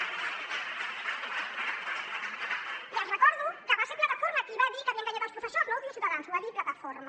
i els recordo que va ser plataforma qui va dir que havia enganyat els professors no ho diu ciutadans ho va dir plataforma